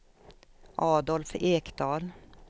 Adolf Ekdahl